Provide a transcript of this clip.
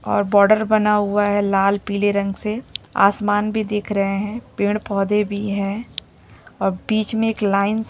और बॉर्डर बना हुआ है लाल पीले रंग से आसमान भी दिख रहे है पेड़-पौधे भी है और बीच मे एक लाइन --